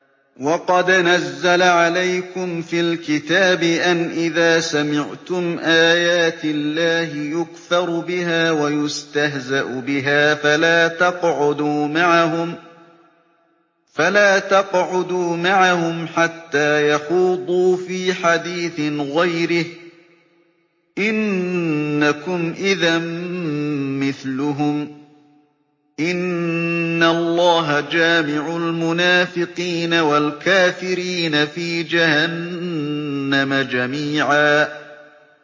وَقَدْ نَزَّلَ عَلَيْكُمْ فِي الْكِتَابِ أَنْ إِذَا سَمِعْتُمْ آيَاتِ اللَّهِ يُكْفَرُ بِهَا وَيُسْتَهْزَأُ بِهَا فَلَا تَقْعُدُوا مَعَهُمْ حَتَّىٰ يَخُوضُوا فِي حَدِيثٍ غَيْرِهِ ۚ إِنَّكُمْ إِذًا مِّثْلُهُمْ ۗ إِنَّ اللَّهَ جَامِعُ الْمُنَافِقِينَ وَالْكَافِرِينَ فِي جَهَنَّمَ جَمِيعًا